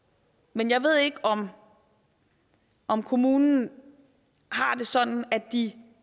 men jeg ved ikke om om kommunen har det sådan at de